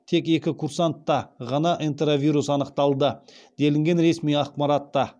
тек екі курсантта ғана энтеровирус анықталды делінген ресми ақпаратта